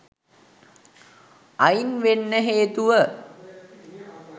අයින් වෙන්න හේතුව